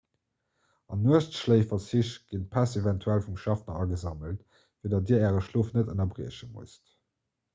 an nuechtschléiferzich ginn d'päss eventuell vum schaffner agesammelt fir datt dir äre schlof net ënnerbrieche musst